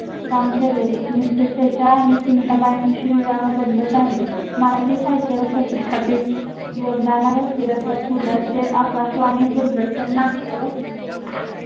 काम केले. एकोणविसशे शेचाळ विवाहबद्ध झाले. मराठी साहित्य पु ल चे आकाशवाणी, दूरदर्शन, नाट्य व